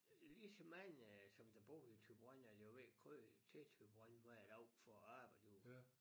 Lige så mange som der bor i Thyborøn er der jo der kører til Thyborøn hver dag for at arbejde derude